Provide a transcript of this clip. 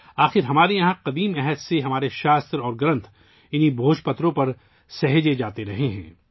بہر حال، قدیم زمانے سے، ہمارے صحیفے اور کتابیں ان بھوج پتروں پر محفوظ ہیں